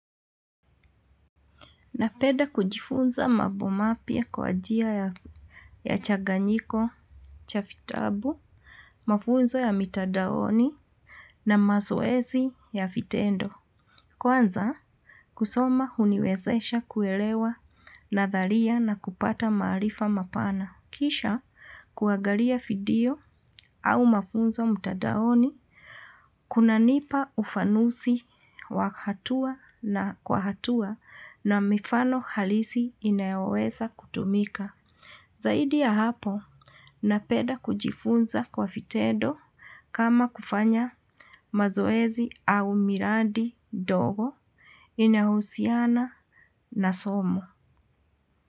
Napenda kujifunza mambo mapya kwa njia ya changanyiko, cha vitabu, mafunzo ya mitandaoni na mazoezi ya vitendo. Kwanza kusoma huniwezesha kuelewa nadhalia na kupata maarifa mapana. Kisha kuangalia video au mafunzo mtandaoni, kuna nipa ufanuzi kwa hatua na mifano halisi inayoweza kutumika. Zaidi ya hapo, napenda kujifunza kwa vitendo kama kufanya mazoezi au miradi ndogo inahusiana na somo.